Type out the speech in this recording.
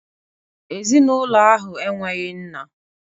Ezinụlọ ahụ enweghị nna